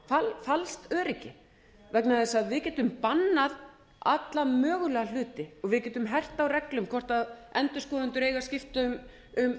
öryggistilfinningu falskt öryggi vegna þess að við getum bannað alla mögulega hluti við getum hert á reglum hvort endurskoðendur eiga að skipta um